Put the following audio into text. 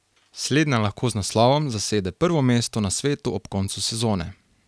Slednja lahko z naslovom zasede prvo mesto na svetu ob koncu sezone.